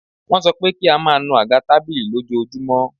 Wọ́n sọ pé kí a máa nù àga tábìlì lójoojúmọ́.